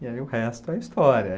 E aí o resto é história.